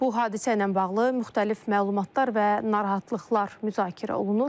Bu hadisə ilə bağlı müxtəlif məlumatlar və narahatlıqlar müzakirə olunur.